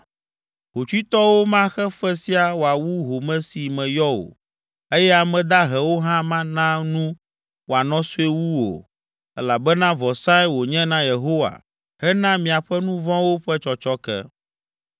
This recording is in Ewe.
Hotsuitɔwo maxe fe sia wòawu home si meyɔ o, eye ame dahewo hã mana nu wòanɔ sue wu o, elabena vɔsae wònye na Yehowa hena miaƒe nu vɔ̃wo ƒe tsɔtsɔke.